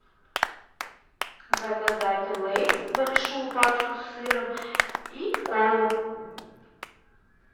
заказать лейс большую пачку с сыром и колу